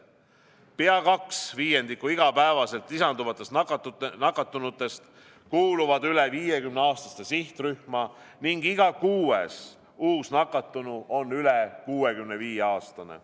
Pea 2/5 igapäevaselt lisanduvatest nakatunutest kuuluvad üle 50-aastaste sihtrühma ning iga kuues uus nakatunu on üle 65-aastane.